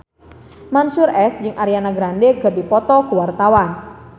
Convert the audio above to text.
Mansyur S jeung Ariana Grande keur dipoto ku wartawan